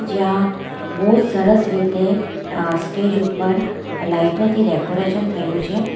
જ્યાં બો સરસ રીતે અ સ્ટેજ ઉપર લાઈટો થી ડેકોરેશન થયું છે.